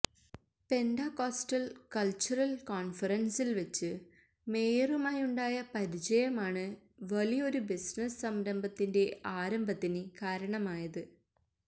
Pentecostal cultural കോണ്ഫറന്സില് വച്ചു മേയറുമായുണ്ടായ പരിചയമാണ് വലിയൊരു ബിസിനസ് സംരംഭത്തിന്റെ ആരംഭത്തിന് കാരണമായത്